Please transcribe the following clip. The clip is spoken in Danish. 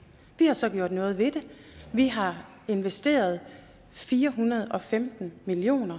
vi har så gjort noget ved det vi har investeret fire hundrede og femten million